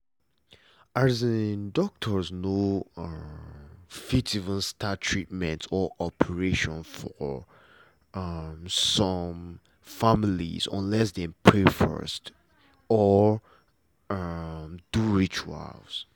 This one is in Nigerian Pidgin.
as in doctors no um fit even start treatment or operation for um some family unless them first pray or um do rituals